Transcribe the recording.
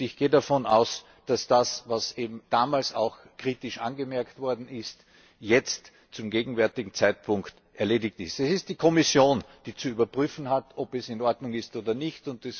Ich gehe davon aus, dass das, was damals auch kritisch angemerkt worden ist, jetzt zum gegenwärtigen Zeitpunkt erledigt ist. Es ist die Kommission, die zu überprüfen hat, ob es in Ordnung ist oder nicht.